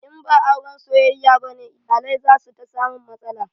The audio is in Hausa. In ba auren soyayya bane, iyalai za su ta samun matsala.